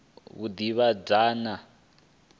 vhudavhidzani